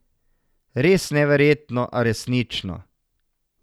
Res neverjetno, a resnično.